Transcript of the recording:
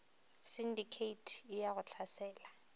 sindikheithi e ya go hlasela